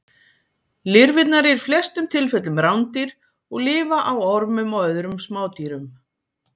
Lirfurnar eru í flestum tilfellum rándýr og lifa á ormum og öðrum smádýrum.